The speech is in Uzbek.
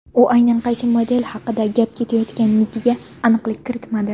U aynan qaysi model haqida gap ketayotganiga aniqlik kiritmadi.